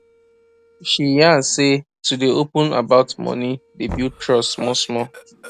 she yan say to dey open about money dey build trust small small